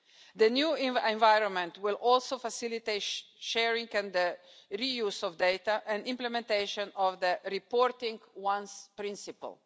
The new environment will also facilitate sharing and reuse of data and implementation of the reporting once' principle.